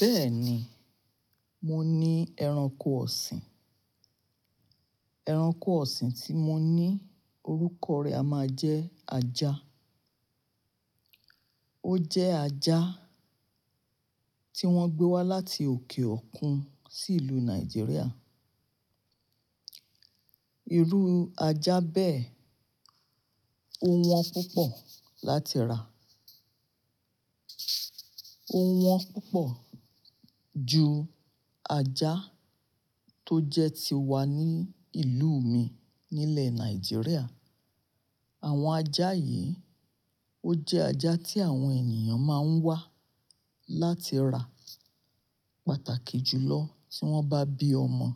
Bẹ́ẹ̀ni, mo ní ẹranko ọ̀sìn. Ẹranko ọ̀sìn tí mo ní orúkọ rẹ̀ a máa jẹ́ ajá. Ó jẹ́ ajá tí wọ́n gbé wá láti òkè òkun sí ìlú Nàìjíríà. Irú ájá bẹ́ẹ̀ ò wọ́n púpọ̀ láti rà. Ó wọ́n púpọ̀ ju ajá tó jẹ́ ti wa ní ìlú mi nílẹ̀ Nàìjíríà. Àwọn ajá yìí, ó jẹ́ ajá tí àwọn ènìyàn máa ń wá láti rà pàtàkì jùlọ tí wọ́n bá bí ọmọ.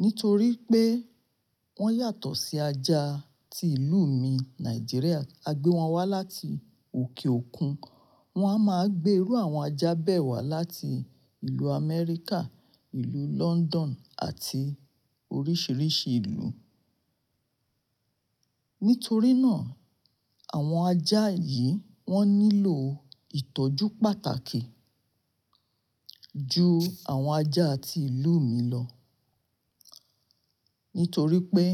Nítorí pé wọ́n yàtọ̀ sí ajá tí ìlú mi Nàìjíríà, a gbé wọn wá láti òkè òkun. Wọ́n á máa gbé irú àwọn ajá bẹ́ẹ̀ wá láti ìlú Amẹ́ríkà, ìlú London àti oríṣiríṣi ìlú. Nítorí náà, àwọn ajá yìí wọ́n nílò ìtọ́jú pàtàkì ju àwọn ajá tí ìlú mi lọ. Nítorí pé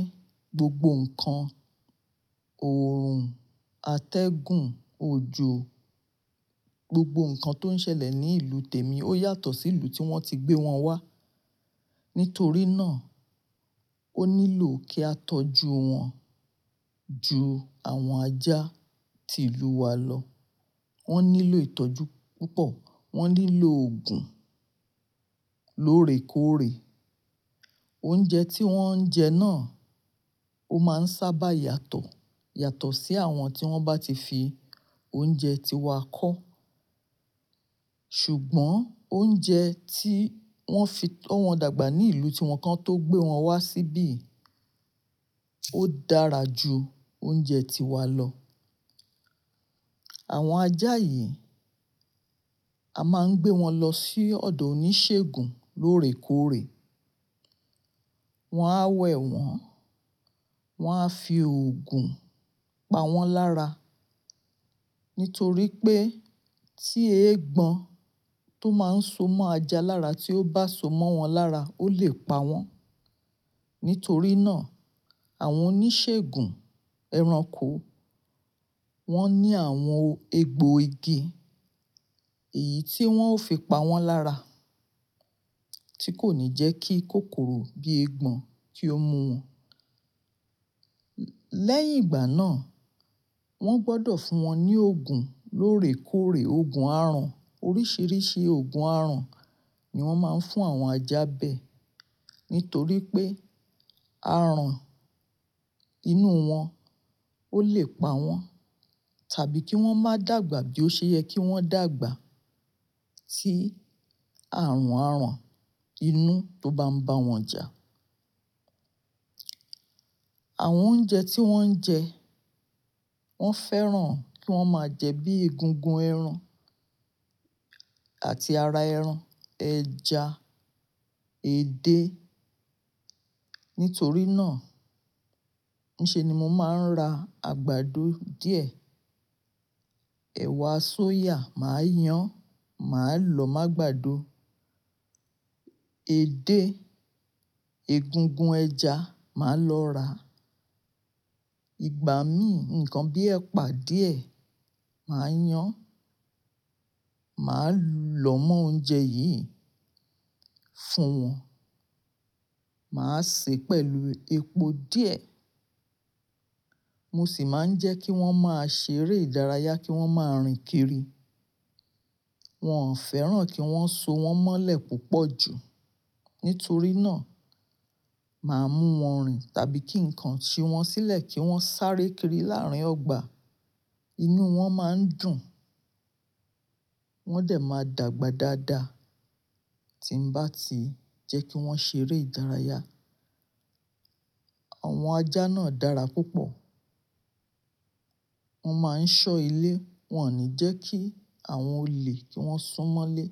gbogbo nǹkan, oòrùn, atẹ́gùn, òjò, gbogbo nǹkan tó ń ṣẹlẹ̀ ní ìlú tèmi ó yàtọ̀ sí ìlú tí wọ́n ti gbé wọn wá. Nítorí náà, ó nílò kí a tọ́jú wọn ju àwọn ajá tí ìlú wa lọ. Wọ́n nílò ìtọ́jú púpọ̀, wọ́n nílò òògùn lóòrèkóòrè. Oúnjẹ tí wọ́n ń jẹ náà ó máa ń sábà yàtọ̀, yàtọ̀ sí àwọn tí wọ́n bá ti fi oúnjẹ tí wa kọ́. Ṣùgbọ́n oúnjẹ tí wọ́n fi to wọ́n dàgbà ní ìlú tí wọ́n kan tó gbé wọn wá síbí, ó dára ju oúnjẹ tí wa lọ. Àwọn ajá yìí a máa ń gbé wọn lọ sí ọ̀dọ̀ oníṣègùn lóòrèkóòrè. Wọn á wẹ̀ wọ́n, wọ́n á fi òògùn pa wọ́n lára. Nítorí pé, tí eégbọn tó máa ń so mọ́ ajá lára tí ó bá so mọ́ wọn lára ó lè pa wọ́n. Nítorí náà, àwọn oníṣègùn ẹranko wọ́n ní àwọn egbò igi èyí tí wọ́n ó fi pa wọ́n lára tí kò ní jẹ́ kí kòkòrò bí eégbọn kí ó mú wọn. Lẹ́yìn ìgbà náà, wọ́n gbọ́dọ̀ fún wọn ní òògùn lóòrèkóòrè, òògùn àràn. Oríṣiríṣi òògùn aràn ni wọ́n máa ń fún àwọn ajá bẹ́ẹ̀. Nítorí pé àràn inú wọn ó lè pa wọ́n tàbí kí wọ́n má dàgbà bí ó ṣe yẹ kí wọ́n dàgbà tí àrùn àràn inú tó bá ń ba wọ́n jà. Àwọn oúnjẹ tí wọ́n ń jẹ wọ́n fẹ́ràn kí wọ́n máa jẹ bíi egungun ẹran àti ara ẹran, ẹja, edé. Nítorí náà, níṣe ni mo máa ń ra àgbàdo díẹ̀, ẹ̀wà soya màá yán, màá lọ má gbàdo. Edé, egungun ẹja màá lọ rà. Ìgbá mí, nǹkan bíi ẹ̀pà díẹ̀ màá yán, màá llọ mọ́ oúnjẹ yìí fún wọn. Màá sè pẹ̀lú epo díẹ̀. Mo sì máa ń jẹ́ kí wọ́n máa ṣeré ìdárayá, kí wọ́n máa rìn kiri. Wọn ò fẹ́ràn kí wọ́n so wọn mọ́lẹ̀ púpọ̀ jù. Nítorí náà, màá mú wọn rìn tàbí kí nǹkan ṣi wọn sílẹ̀ kí wọ́n sáré kiri láàárín ọgbà. Inú wọn máa ń dùn, wọ́n dẹ̀ máa dàgbà dáadáa tí ń bá ti jẹ́ kí wọ́n ṣeré ìdárayá. Àwọn ajá náà dára púpọ̀. Wọ́n máa ń ṣọ́ ilé, wọn ò ní jẹ́ kí àwọn olè kí wọ́n sún mọ́lé.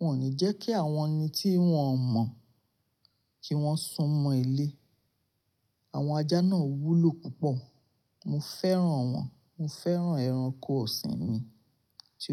Wọn ò ní jẹ́ kí àwọn ẹni tí wọn ò mọ̀ kí wọ́n sún mọ́ ilé. Àwọn ajá náà wúlò púpọ̀. Mo fẹ́ràn wọn, mo fẹ́ràn ẹranko ọ̀sìn mi.